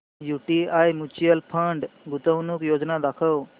UTI mutual fund गुंतवणूक योजना दाखव